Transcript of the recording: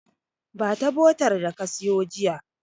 Ba ta botar da ka siyo jiya.